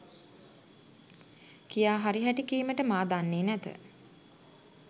කියා හරි හැටි කීමට මා දන්නේ නැත.